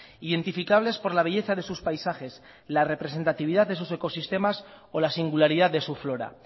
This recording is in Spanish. identificables por la belleza de sus paisajes la representatividad de sus ecosistemas o la singularidad de su flora